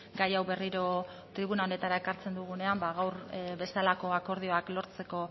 gai hau berriro tribuna honetara ekartzen dugunean gaur bezalako akordioak lortzeko